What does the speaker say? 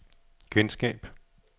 genskab